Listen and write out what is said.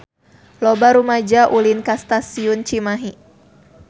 Loba rumaja ulin ka Stasiun Cimahi